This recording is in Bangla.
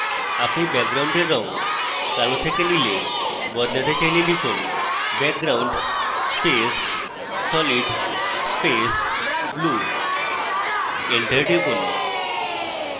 আপনি ব্যাকগ্রাউন্ডের রঙ কালো থেকে নীলে বদলাতে চাইলে লিখুন: background space solid space blue enter টিপুন